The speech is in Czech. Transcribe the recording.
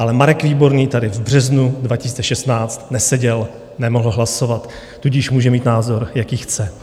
Ale Marek Výborný tady v březnu 2016 neseděl, nemohl hlasovat, tudíž může mít názor, jaký chce.